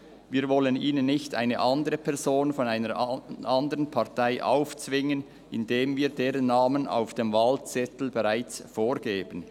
Wir wollen ihnen nicht eine andere Person von einer andern Partei aufzwingen, indem wir deren Namen auf dem Wahlzettel bereits vorgeben.